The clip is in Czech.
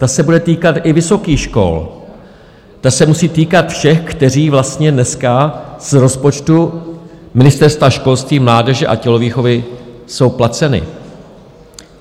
Ta se bude týkat i vysokých škol, ta se musí týkat všech, kteří vlastně dneska z rozpočtu Ministerstva školství, mládeže a tělovýchovy jsou placeni.